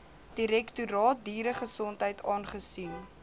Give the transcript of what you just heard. direktoraat dieregesondheid aangesien